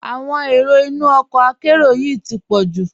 Awọn èró ìnú ọkọ àkéró yìí ti pọ̀ ju.